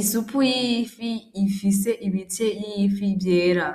Isupu y'ifi ifise ibitce y'ifi vyera